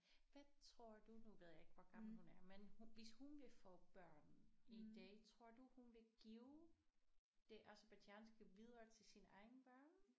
Hvad tror du nu ved jeg ikke hvor gammel hun er men hun hvis hun vil få børn en dag tror du hun vil give det aserbajdsjanske videre til sine egne børn